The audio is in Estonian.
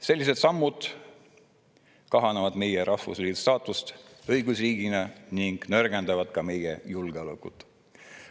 Sellised sammud kahandavad meie rahvusriigi staatust õigusriigina ning nõrgendavad ka meie julgeolekut.